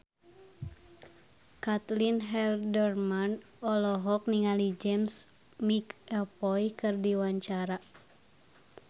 Caitlin Halderman olohok ningali James McAvoy keur diwawancara